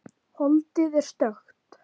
Holdið er stökkt.